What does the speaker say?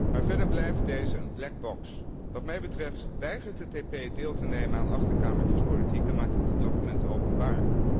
Maar verder blijven deze een black box Wat mij betreft weigert het EP deel te nemen aan achterkamertjespolitiek en maakt het de documenten openbaar.